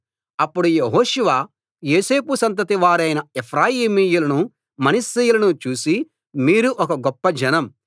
అప్పడు యెహోషువ యోసేపు సంతతి వారైన ఎఫ్రాయిమీయులను మనష్షీయులను చూసి మీరు ఒక గొప్ప జనం